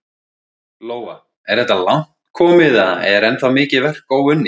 Lóa: Er þetta langt komið eða er ennþá mikið verk óunnið?